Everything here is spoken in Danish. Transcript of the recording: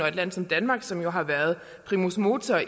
et land som danmark som jo har været primus motor og